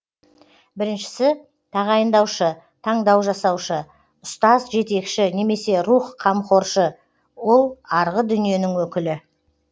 біріншісі тағайындаушы таңдау жасаушы ұстаз жетекші немесе рух қамқоршы ол арғы дүниенің өкілі